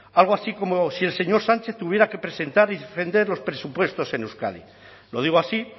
algo así como si el señor sánchez tuviera que presentar y defender los presupuestos en euskadi lo digo así